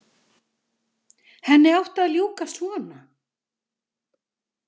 Henni átti að ljúka svona.